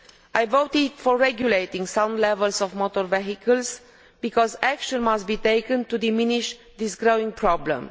I voted for regulating certain types of motor vehicle because action must be taken to diminish this growing problem.